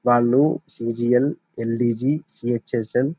వాళ్ళు C G L L D G C H S M --